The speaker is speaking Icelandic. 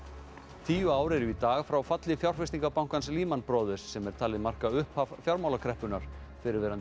tíu ár eru í dag frá falli fjárfestingarbankans Brothers sem er talið marka upphaf fjármálakreppunnar fyrrverandi